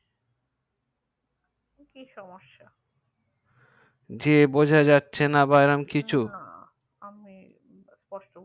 কি সমেস্যা যে বুঝা যাচ্ছে না কিছু না আমি